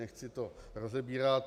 Nechci to rozebírat.